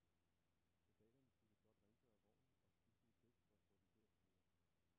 Soldaterne skulle blot rengøre vognen og skifte et dæk for at få den til at køre.